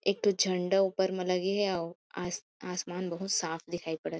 एक ठो झंडा ऊपर में लगे हे अऊ आस आसमान बहुत साफ़ दिखाई पड़त हे।